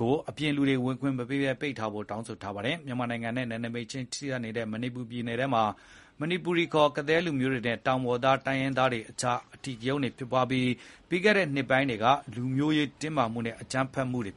ကို အပြင်လူဝင်ခွင့်မပေးဘဲ ပိတ်ပင်ပေးဖို့ တောင်းနေပါတယ်။ မြန်မာနိုင်ငံနဲ့ နယ်နိမိတ်ချင်းကပ်နေတဲ့ မဏိပူပြည်နယ်ထဲမှာ မဏိပူရီခေါ် ကသည်းလူမျိုးတွေနဲ့ တောင်ပေါ်သားတိုင်းရင်းသားတွေကြား အဓိကရုဏ်းဖြစ်ပွားခဲ့ပြီး ပြီးခဲ့တဲ့နှစ်ပိုင်းအတွင်း လူမျိုးရေးတင်းမာမှုနဲ့ အကြမ်းဖက်မှုတွေ